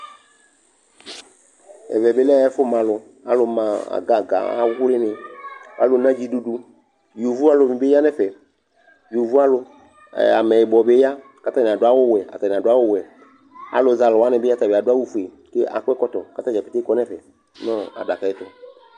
ɛvɛ bi lɛ ɛfu malu alu ma agaga awli ni, alu nu dziɖuɖu yovo alu ni bi ya nu ɛfɛ , yovo alu ɛɛ ameyibɔ bi ya ka ata ni adu awu wɛ ata ni adu awu wɛ alu zɛ alu wʋani bi adu awu fue ku akɔ ɛkɔtɔ katadza pete kɔ nu ɛfɛ nu adakaɛ tu